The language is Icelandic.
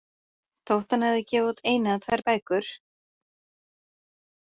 Þótt hann hafi gefið út eina eða tvær bækur.